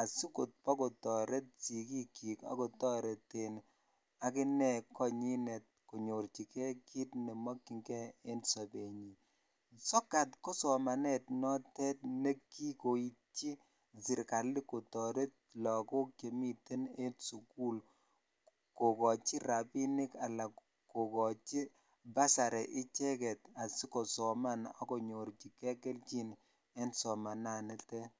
asikobokotoret sikiikyik ak kotoreten akine konyinet konyorchike kiit nemokying'e en sobenyin, sokat ko somanet notet nekikoityi serikali kotoret lokok chemiten en sukul kokochi rabinik alaa kokochi basari icheket asikosoman ak konyorchike kelchin en somananitet.